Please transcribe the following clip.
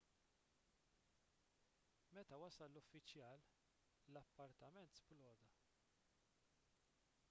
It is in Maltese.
meta wasal l-uffiċjal l-appartament sploda